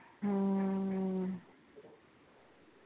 ਹਮ